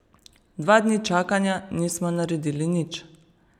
Dva dni čakanja, nismo naredili nič.